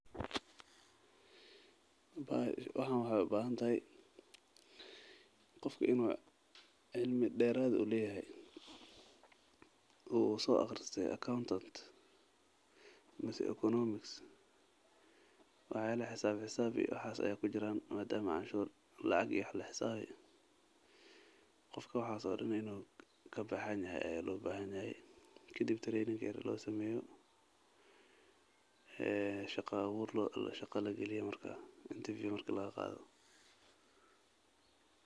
Waxaan waxeey ubahan tahay qofka inuu cimi deerad ah leyahay oo uu soo aqriste wax yaaba xisaaba ayaa kujiraan madama lacag la xusaabi hayaao qofka in tababar loo sameeyo.